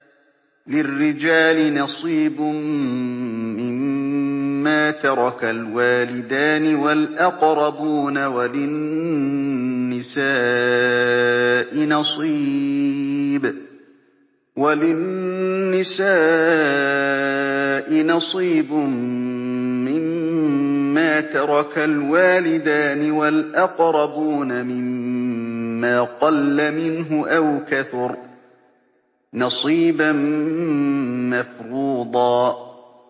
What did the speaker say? لِّلرِّجَالِ نَصِيبٌ مِّمَّا تَرَكَ الْوَالِدَانِ وَالْأَقْرَبُونَ وَلِلنِّسَاءِ نَصِيبٌ مِّمَّا تَرَكَ الْوَالِدَانِ وَالْأَقْرَبُونَ مِمَّا قَلَّ مِنْهُ أَوْ كَثُرَ ۚ نَصِيبًا مَّفْرُوضًا